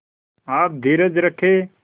आप धीरज रखें